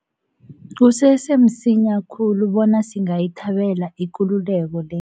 Kusese msinya khulu bona singayithabela ikululeko le.